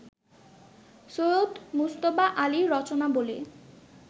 Syed Mujtaba Ali Rachanabali